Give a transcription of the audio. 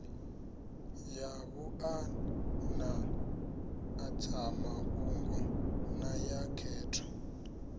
ya vhuanḓadzamafhungo na ya khetho